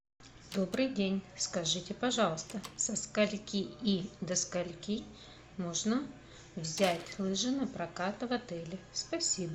добрый день скажите пожалуйста со скольки и до скольки можно взять лыжи напрокат в отеле спасибо